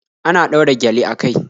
Ana ɗaura gyale a kai